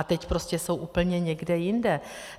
A teď prostě jsou úplně někde jinde.